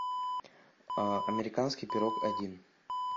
американский пирог один